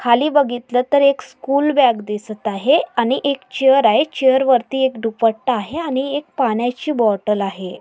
खाली बघितलं तर एक स्कूल बॅग दिसत आहे. आणि एक चेअर आहे. चेअर वरती एक दुपट्टा आहे. आणि एक पाण्याची बॉटल आहे.